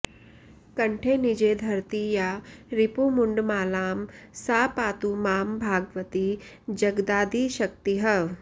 कण्ठे निजे धरति या रिपु मुण्डमालां सा पातु मां भगवती जगदादिशक्तिः